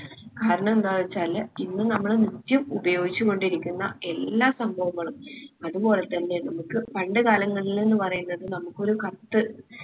കാരണം എന്താ വെച്ചാല് ഇന്ന് നമ്മള് നിത്യം ഉപയോഗിച്ച് കൊണ്ടിരിക്കുന്ന എല്ലാ സംഭവങ്ങളും അത് പോലെത്തന്നെ നമ്മുക്ക് പണ്ട് കാലങ്ങളിൽ ന്ന്‌ പറയ്ന്നത് നമ്മുക്ക് ഒരു കത്ത്